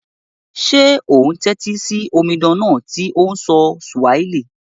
Sé o n tẹ́tí si omidan náà to n sọ Swahili?